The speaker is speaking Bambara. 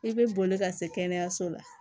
I bɛ boli ka se kɛnɛyaso la